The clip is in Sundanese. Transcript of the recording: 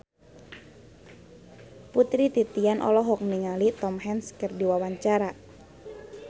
Putri Titian olohok ningali Tom Hanks keur diwawancara